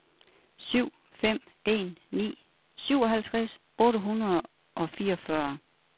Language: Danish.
syv fem en ni syvoghalvtreds otte hundrede og fireogfyrre